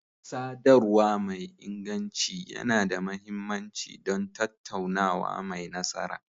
Sadarwa mai inganci yana da mahimmanci don tattaunawa mai nasara.